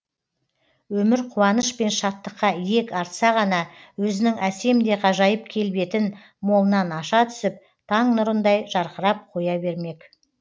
өмір қуаныш пен шаттыққа иек артса ғана өзінің әсем де ғажайып келбетін молынан аша түсіп таң нұрындай жарқырап қоя бермек